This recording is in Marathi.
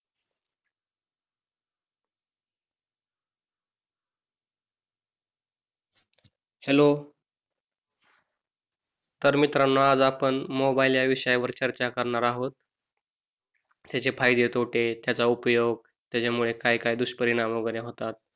हॅलो तर मित्रांनो आज आपण मोबाइल या विषयावर चर्चा करणार आहोत त्याचे फायदे, तोटे त्याचा उपयोग त्याच्यामुळे काय, काय दुष्परिणाम वगैरे होतात